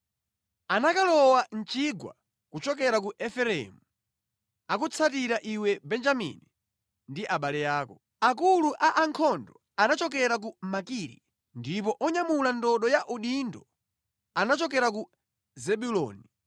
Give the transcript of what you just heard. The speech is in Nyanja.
Anakalowa mʼchigwa kuchokera ku Efereimu; akutsatira iwe Benjamini ndi abale ako. Akulu a ankhondo anachokera ku Makiri, ndipo onyamula ndodo ya udindo anachokera ku Zebuloni.